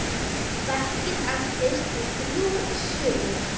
Verkið entist í þrjú sumur.